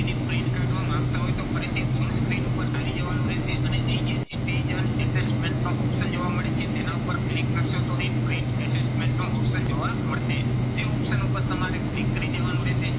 ફરીથી on-screen ઉપર આવી જવાનું રહેશે અને અહીં જે citizen assessment નો option જોવા મળી છે, તેના ઉપર click કરશો તો print assessment નો option જોવા મળશે. તે option ઉપર તમારે click કરી દેવાનું રહેશે.